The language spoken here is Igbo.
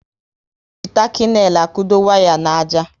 E ji taki neil akudo waya n'àjà